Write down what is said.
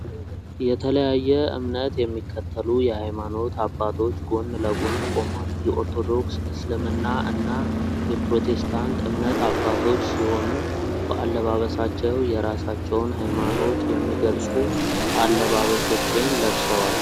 የተለያየ እምነት የሚከተሉ የሃይማኖት አባቶች ጎን ለጎን ቆመዋል። የኦርቶዶክስ፣ እስልምና እና የፕሮቴስታንት እምነት አባቶች ሲሆኑ በአለባበሳቸው የራሳቸውን ሃይማኖት የሚገልጹ አለባበሶችን ለብሰዋል።